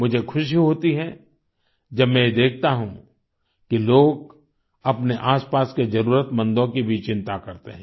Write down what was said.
मुझे खुशी होती है जब मैं यह देखता हूँ कि लोग अपने आसपास के जरूरतमंदों की भी चिंता करते हैं